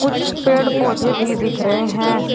कुछ पेड़ पौधे भी दिख रहे हैं।